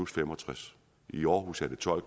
65 i aarhus er det tolv